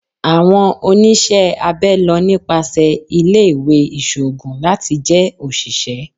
Awọn oniṣẹ abẹ lọ nipasẹ ile-iwe iṣoogun lati jẹ oṣiṣẹ